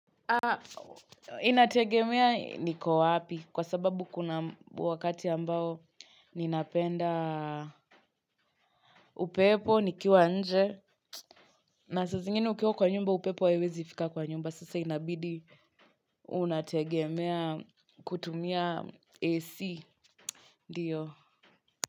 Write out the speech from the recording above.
Inategemea niko wapi kwa sababu kuna wakati ambao ninapenda upepo, nikiwa nje. Na saa zingine ukiwa kwa nyumba upepo haiwezi fika kwa nyumba sasa inabidi unategemea kutumia AC ndiyo.